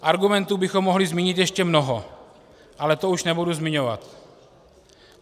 Argumentů bychom mohli zmínit ještě mnoho, ale to už nebudu zmiňovat.